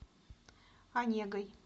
онегой